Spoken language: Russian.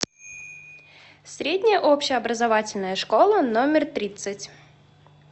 средняя общеобразовательная школа номер тридцать